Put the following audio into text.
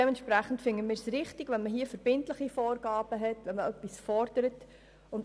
Daher halten wir es für richtig, wenn hier verbindliche Vorgaben gelten und etwas gefordert wird.